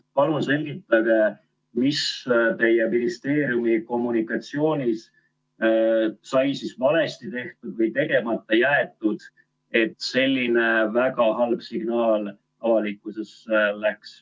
Palun selgitage, mis teie ministeeriumi kommunikatsioonis sai valesti tehtud või tegemata jäetud, et selline väga halb signaal avalikusesse läks.